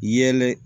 Yɛlɛ